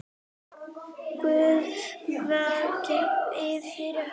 Guð vaki yfir ykkur.